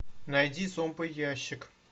найди зомбоящик